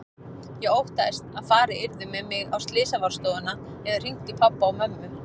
Ég óttaðist að farið yrði með mig á slysavarðstofuna eða hringt í pabba og mömmu.